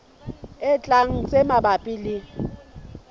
e tlang tse mabapi le